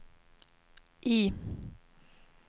I